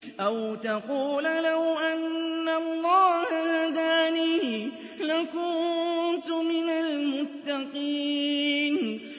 أَوْ تَقُولَ لَوْ أَنَّ اللَّهَ هَدَانِي لَكُنتُ مِنَ الْمُتَّقِينَ